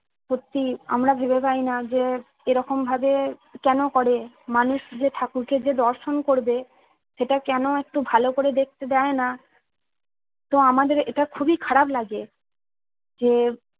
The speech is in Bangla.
সত্যি আমরা ভেবে পাইনা যে এরকম ভাবে কেনো করে মানুষ যে ঠাকুরকে যে দর্শন করবে সেটা কেন একটু ভালো করে দেখতে দেইনা তো আমাদের এটা খুবই খারাপ লাগে। যে